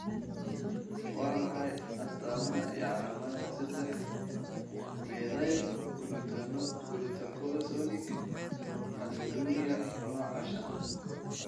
Waa maxay astamaha iyo calaamadaha sedex methylglutaconic aciduria nooca shanaad?